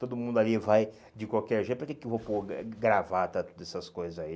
Todo mundo ali vai de qualquer jeito, para que que eu vou pôr gravata, todas essas coisas aí?